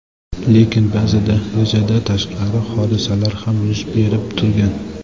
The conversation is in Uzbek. Lekin ba’zida rejadan tashqari hodisalar ham yuz berib turgan.